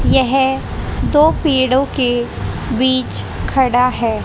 यह दो पीड़ो के बीच खड़ा है।